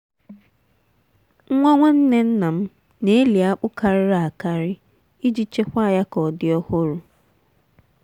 nwa nwanne nna m na-eli akpu karịrị akarị iji chekwaa ya ka ọ dị ọhụrụ.